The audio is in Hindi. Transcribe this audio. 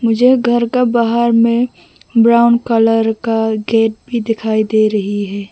मुझे घर का बाहर में ब्राउन कलर का गेट भी दिखाई दे रही है।